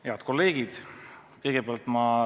Head kolleegid!